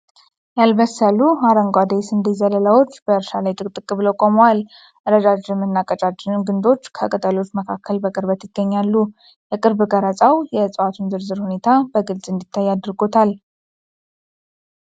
ያልበሰሉ አረንጓዴ የስንዴ ዘለላዎች በእርሻ ላይ ጥቅጥቅ ብለው ቆመዋል። ረጃጅም እና ቀጫጭን ግንዶች ከቅጠሎች መካከል በቅርበት ይገኛሉ። የቅርብ ቀረጻው የእጽዋቱን ዝርዝር ሁኔታ በግልፅ እንዲታይ አድርጎታል።